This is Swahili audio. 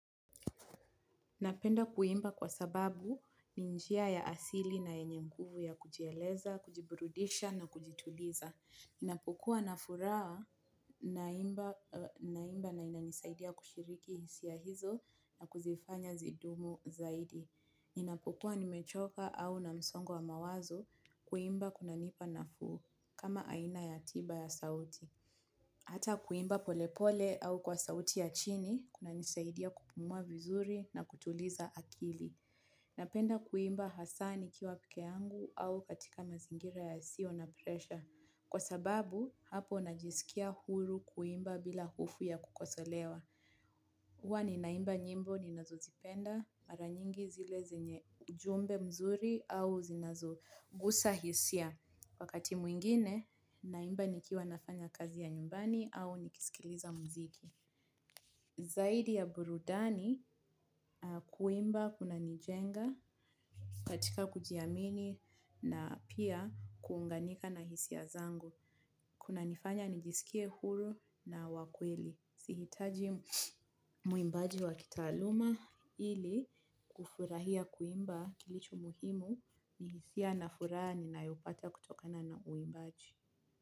Napenda kuimba kwa sababu ni njia ya asili na yenye nguvu ya kujieleza, kujiburudisha na kujituliza. Ninapukuwa na furaha na imba na inanisaidia kushiriki hisia hizo na kuzifanya zidumu zaidi. Ninapukuwa nimechoka au na msongo wa mawazo kuimba kuna nipa nafuu kama aina ya tiba ya sauti. Hata kuimba polepole au kwa sauti ya chini kuna nisaidia kupumua vizuri na kutuliza akili. Napenda kuimba hasaa nikiwa peke yangu au katika mazingira yasiyo na presha. Kwa sababu, hapo najisikia huru kuimba bila hofu ya kukosolewa. Huwa ninaimba nyimbo ninazozipenda mara nyingi zile ujumbe nzuri au zile zenye zinagusa hisia. Wakati mwingine, naimba nikiwa nafanya kazi ya nyumbani au nikisikiliza mziki. Zaidi ya burudani, kuimba kuna nijenga katika kujiamini na pia kuunganika na hisia zangu. Kuna nifanya nijisikie huru na wa kweli. Si hitaji mwimbaji wa kitaaluma ili kufurahia kuimba kilicho muhimu ni hisia na furani na yupata kutokana na muimbaji.